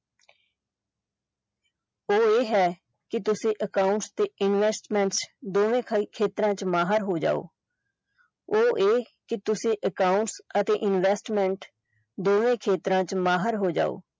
ਉਹ ਇਹ ਹੈ ਕਿ ਤੁਸੀਂ accounts ਤੇ investments ਦੋਵੇਂ ਖੇਤਰਾਂ ਚ ਮਾਹਰ ਹੋ ਜਾਓ ਉਹ ਇਹ ਕਿ ਤੁਸੀਂ accounts ਅਤੇ investments ਦੋਵੇਂ ਖੇਤਰਾਂ ਚ ਮਾਹਿਰ ਹੋ ਜਾਓ।